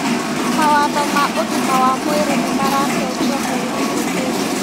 Mawatho ma ũgima wa mwĩrĩ nĩmaracenjio mweri ũkĩte